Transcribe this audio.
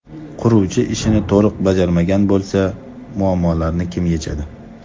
Quruvchi ishni to‘liq bajarmagan bo‘lsa, muammolarni kim yechadi?